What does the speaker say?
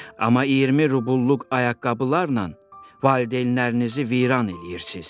Amma 20 rubulluq ayaqqabılarla valideynlərinizi viran eləyirsiz.